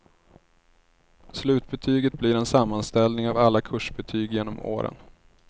Slutbetyget blir en sammanställning av alla kursbetyg genom åren.